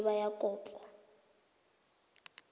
e e maleba ya kopo